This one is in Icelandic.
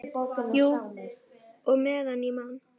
Jú, og meðan ég man.